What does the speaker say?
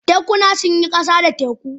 Tekuna sun yi ƙasa da teku.